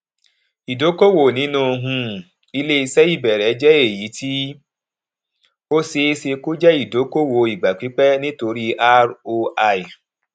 ìdókòwò nínu um iléiṣẹ ìbẹrẹ jẹ èyítí ó ṣeéṣe kó jẹ ìdókòwò ìgbà pípẹ nítorí roi